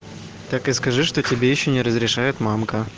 так и скажи что тебе ещё не разрешает мамка